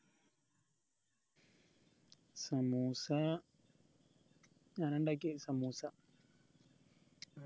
സമൂസ ഞാനാ ഇണ്ടാക്കിയെ സമൂസ